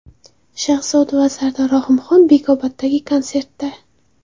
Shahzoda va Sardor Rahimxon Bekoboddagi konsertda.